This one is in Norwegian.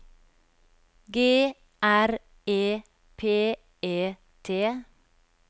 G R E P E T